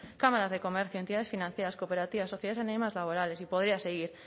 cámaras de comercio entidades financieras cooperativas sociales y laborales y podría seguir